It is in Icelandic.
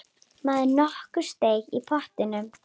Maður nokkur steig í pontu.